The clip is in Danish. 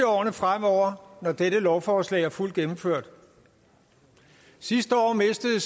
årene fremover når dette lovforslag er fuldt gennemført sidste år mistede